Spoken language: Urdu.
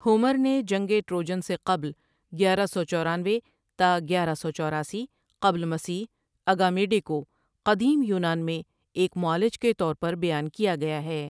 ہومر نے جنگِ ٹروجن سے قبل گیارہ سو چورانوے تا گیارہ سو چورایسی قبل مسیح اگامیڈے کو قدیم یونان میں ایک معالج کے طور پر بیان کیا گیا ہے ۔